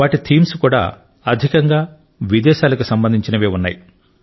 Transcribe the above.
వాటి ఇతివృత్తాలు కూడా అధికంగా విదేశాలకు సంబంధించినవే ఉన్నాయి